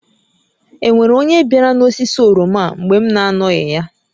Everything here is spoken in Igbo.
E nwere onye biara n'osisi oroma a mgbe m na-anọghị ya?